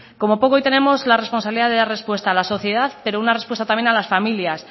como poco hoy tenemos la responsabilidad de dar respuesta a la sociedad pero una respuesta también a las familias